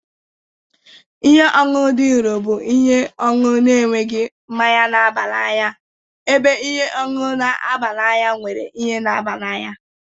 Ihe ọṅụṅụ dị nro bụ ihe ọṅụṅụ na-enweghị mmanya na-aba n'anya ebe ihe ọṅụṅụ na-aba n'anya nwere ihe na-aba n'anya